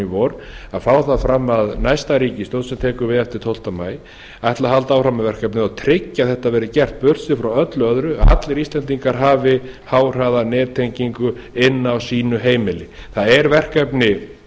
vor að fá það fram að næsta ríkisstjórn sem tekur við eftir tólfta maí ætli að halda áfram með verkefnið og tryggja að þetta verði gert burtséð frá öllu öðru að allir íslendingar hafa háhraðanettengingu inni á sínu heimili það er verkefni